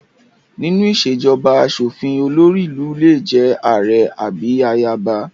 Nínú ìṣèjọba aṣòfin, olórí ìlú lè jẹ́ ààrẹ àbí ayaba